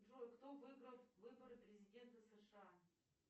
джой кто выиграл выборы президента сша